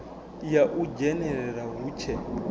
ya u dzhenelela hu tshe